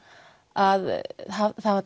að